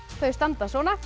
þau standa svona